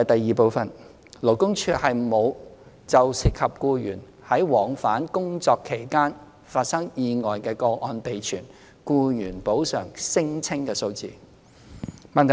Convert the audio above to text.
二勞工處沒有就涉及僱員在往返工作期間發生意外的個案備存僱員補償聲請數字。